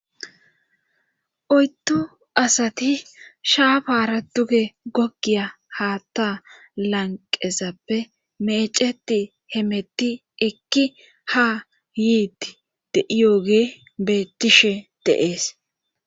Oydu asati shaafara duge gogiya haatta lanqezappe meeceti hemetti ekki ha yiiti de'iyogey bettishe deees.